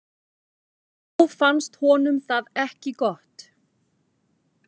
Þá fannst honum það ekki gott.